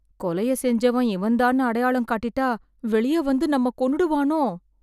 கொலையை செஞ்சவன் இவன்தான்னு அடையாளம் காட்டிட்டா, வெளிய வந்து நம்மை கொன்னுடுவானோ?